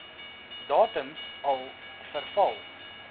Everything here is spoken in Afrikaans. datums al verval